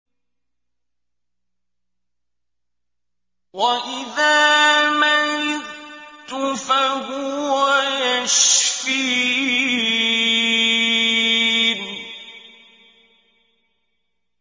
وَإِذَا مَرِضْتُ فَهُوَ يَشْفِينِ